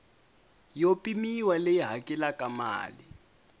yo pimiwa leyi hakelaka mali